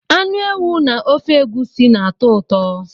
Anụ ewu na ofe egusi na-atọ ụtọ.